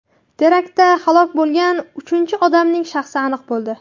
Teraktda halok bo‘lgan uchinchi odamning shaxsi aniq bo‘ldi.